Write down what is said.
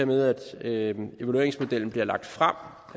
med at evalueringsmodellen bliver lagt frem